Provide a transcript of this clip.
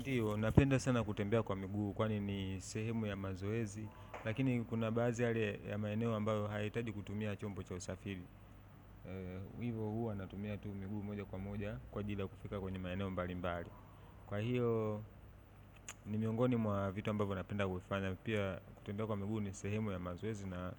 Ndiyo, napenda sana kutembea kwa miguu kwani ni sehemu ya mazoezi lakini kuna baadhi yale ya maeneo ambayo hayahitaji kutumia chombo cha usafiri hivyo huwa natumia tu miguu moja kwa moja kwa ajili ya kufika kwenye maeneo mbali mbali kwa hiyo, ni miongoni mwa vitu ambavyo napenda kufanya pia kutembea kwa miguu ni sehemu ya mazoezi na